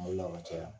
Mali la ka caya